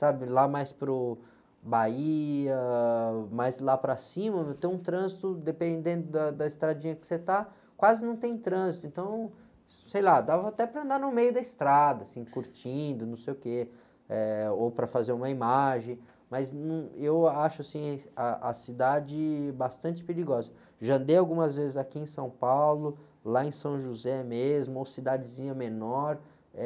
sabe lá mais para o, Bahia, mais lá para cima, meu, tem um trânsito dependendo da, da estradinha que você está, quase não tem trânsito, então, sei lá dava até para andar no meio da estrada assim curtindo não sei o quê, ou para fazer uma imagem, mas eu acho, assim, a, a cidade bastante perigosa já andei algumas vezes aqui em São Paulo lá em São José mesmo ou cidadezinha menor é